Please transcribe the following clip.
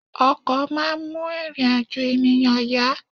Ọkọ̀ máa ń mú ìrìn-àjò ènìyàn yá.